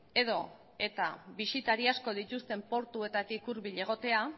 edota bisitari asko dituzten portuetatik hurbil egotea